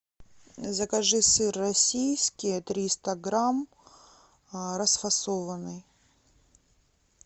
закажи сыр российский триста грамм расфасованный